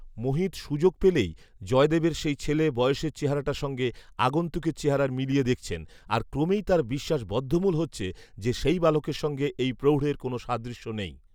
মোহিত সুযোগ পেলেই জয়দেবের সেই ছেলে বয়সের চেহারাটার সঙ্গে আগন্তুকের চেহারা মিলিয়ে দেখছেন, আর ক্রমেই তাঁর বিশ্বাস বদ্ধমূল হচ্ছে যে সেই বালকের সঙ্গে এই প্রৌঢ়ের কোনো সাদৃশ্য নেই